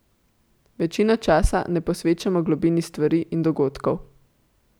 Večino časa ne posvečamo globini stvari in dogodkov.